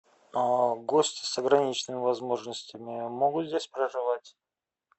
гости с ограниченными возможностями могут здесь проживать